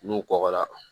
N'u kɔkɔra